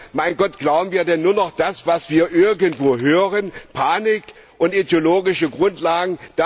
Ja, mein Gott, glauben wir denn nur noch das, was wir irgendwo hören, Panik und ideologische Grundlagen?